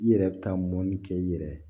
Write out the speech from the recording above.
I yɛrɛ bɛ taa mɔni kɛ i yɛrɛ ye